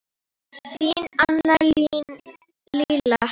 Þín Anna Lilja.